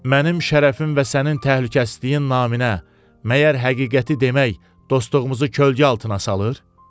Mənim şərəfim və sənin təhlükəsizliyin naminə, məgər həqiqəti demək dostluğumuzu kölgə altına salır?